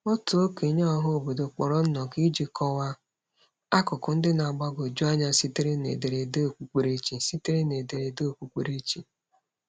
Otu okenye ọhaobodo kpọrọ nnọkọ iji kọwa akụkụ ndị na-agbagwoju anya sitere n’ederede okpukperechi. sitere n’ederede okpukperechi.